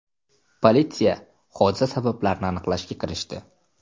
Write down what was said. Politsiya hodisa sabablarini aniqlashga kirishdi.